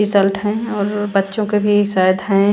Result है और बच्चों के भी शायद हैं।